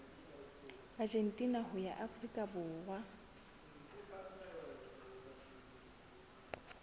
argentina ho ya afrika borwa